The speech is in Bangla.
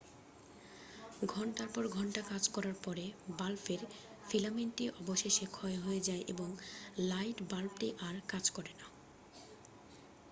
ঘণ্টার পর ঘন্টা কাজ করার পরে বাল্বের ফিলামেন্টটি অবশেষে ক্ষয় হয়ে যায় এবং লাইট বাল্বটি আর কাজ করে না